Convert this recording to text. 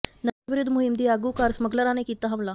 ਨਸ਼ਾ ਵਿਰੋਧੀ ਮੁਹਿੰਮ ਦੀ ਆਗੂ ਘਰ ਸਮੱਗਲਰਾਂ ਨੇ ਕੀਤਾ ਹਮਲਾ